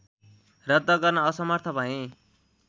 रद्द गर्न असमर्थ भएँ